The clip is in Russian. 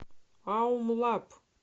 аум лаб